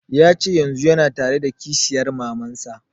Ya ce yanzun yana tare da kishiyar maman sa